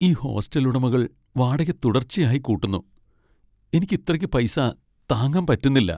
ഈ ഹോസ്റ്റൽ ഉടമകൾ വാടക തുടർച്ചയായി കൂട്ടുന്നു , എനിക്ക് ഇത്രക്ക് പൈസ താങ്ങാൻ പറ്റുന്നില്ല .